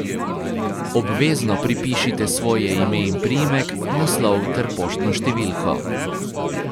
Obvezno pripišite svoje ime in priimek, naslov ter poštno številko.